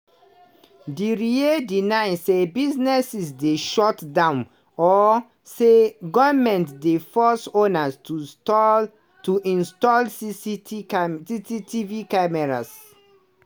diriye deny say businesses dey shut down or say goment dey force owners to stall to install cct cctv cameras.